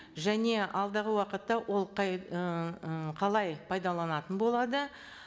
және алдағы уақытта ол ііі қалай пайдаланатын болады